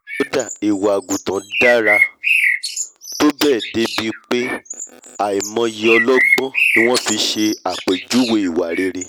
kódà ìwà àgùntàn dára tó bẹ́ẹ̀ dé ibi pé àìmọyé ọlọgbọ́n ni wọ́n fi ṣe àpèjúwèé ìwà rere